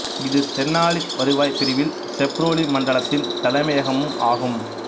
இது தெனாலி வருவாய் பிரிவில் செப்ரோலு மண்டலத்தின் தலைமையகமும் ஆகும்